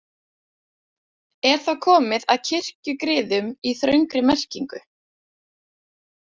Er þá komið að kirkjugriðum í þröngri merkingu.